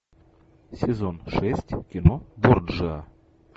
сезон шесть кино борджиа